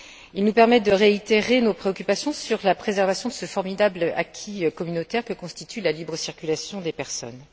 Il nous permet de réitérer nos préoccupations sur la préservation de ce formidable acquis communautaire que constitue la libre circulation des personnes.